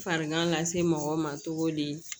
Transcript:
Farigan lase mɔgɔw ma cogo di